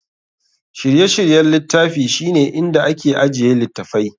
Shirye-shiryen littafi shine inda ake ajiye littattafai.